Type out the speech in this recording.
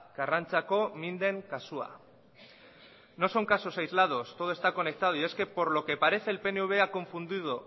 karrantzako minden kasua no son casos aislados todo está conectado y es que por lo que parece el pnv ha confundido